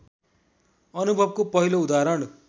अनुभवको पहिलो उदाहरण